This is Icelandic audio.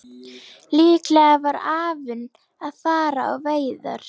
Líklega var afinn að fara á veiðar.